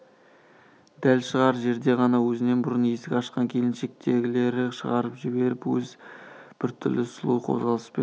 дәл шығар жерде ғана өзінен бұрын есік ашқан келіншекті ілгері шығарып жіберіп өзі біртүрлі сұлу қозғалыспен